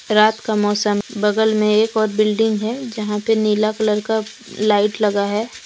रात का मौसम बगल में एक और बिल्डिंग है जहां पे नीला कलर का लाइट लगा है।